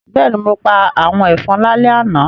Bẹ́ẹ̀ni, mo pa àwọn ẹ̀fọn lálẹ́ àná